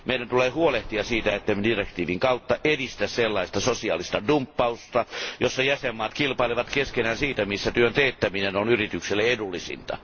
Meidän tulee huolehtia siitä, ettemme direktiivin kautta edistä sellaista sosiaalista dumppausta, jossa jäsenvaltiot kilpailevat keskenään siitä, missä työn teettäminen on yrityksille edullisinta.